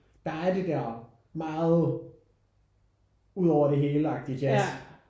Der er det der meget ud over det hele agtige jazz